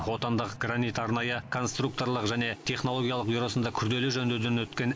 отандық гранит арнайы конструкторлық және технологиялық бюросында күрделі жөндеуден өткен